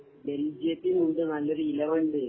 ബേൽജിയത്തിന് ഉണ്ട് നല്ല ഒരു ഇലവ ഉണ്ട്